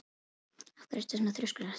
Af hverju ertu svona þrjóskur, Hallsteinn?